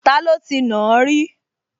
Taló ti nàá rí?